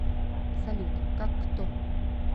салют как кто